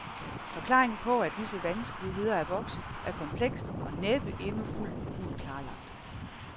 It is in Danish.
Forklaringen på, at disse vanskeligheder er vokset, er kompleks og næppe endnu fuldt ud klarlagt.